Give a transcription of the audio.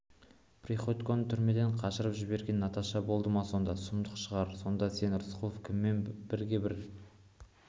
приходьконы түрмеден қашырып жіберген наташа болды ма онда сұмдық шығар сонда сен рысқұлов кіммен бірге бір